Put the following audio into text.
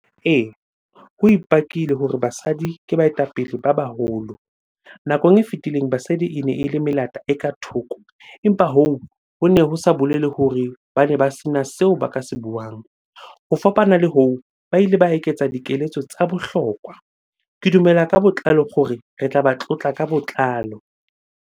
Ee, ho ipakile hore basadi ke baetapele ba baholo. Nakong e fitileng basadi ene ele melata e ka thoko, empa hoo hone ho sa bolele hore bane ba sena seo ba ka se buang. Ho fapana le hoo, ba ile ba eketsa dikeletso tsa bohlokwa. Ke dumela ka botlalo hore re tlaba tlotla ka botlalo.